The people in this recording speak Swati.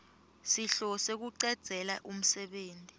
sihlose kucedzela umsebenti